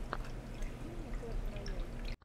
открой мне клэш рояль